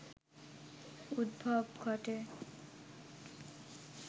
উদ্ভব ঘটে